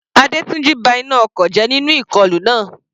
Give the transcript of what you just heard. Adetunji ba iná ọkọ̀ jẹ́ nínú ìkọlù náà.